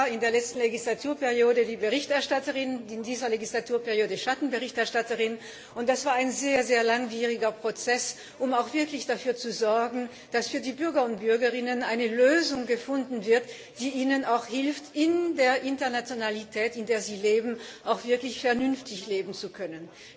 Ich war in der letzten Legislaturperiode die Berichterstatterin, in dieser Legislaturperiode Schattenberichterstatterin, und das war ein sehr langwieriger Prozess, um auch wirklich dafür zu sorgen, dass für die Bürger und Bürgerinnen eine Lösung gefunden wird, die ihnen in der Internationalität, in der sie leben, auch hilft, wirklich vernünftig leben zu können.